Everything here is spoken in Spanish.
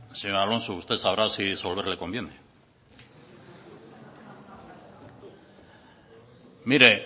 señor alonso usted sabrá si disolver le conviene mire